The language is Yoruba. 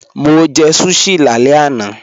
Mo jẹ̀ sushi làlẹ̀ ẹ̀ran.